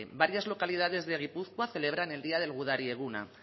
varias localidades de gipuzkoa celebran el día del gudari eguna